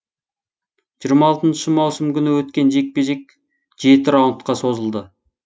жиырма алтыншы маусым күні өткен жекпе жек жеті раундқа созылды